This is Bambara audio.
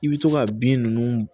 I bɛ to ka bin ninnu